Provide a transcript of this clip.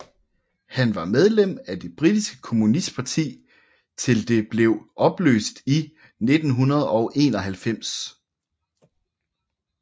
Han var medlem af det britiske kommunistparti til det blev opløst i 1991